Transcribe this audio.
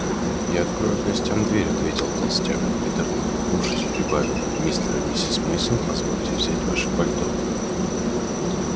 я открою гостям дверь ответил толстяк и приторно улыбнувшись прибавил мистер и миссис мейсон позвольте взять ваши пальто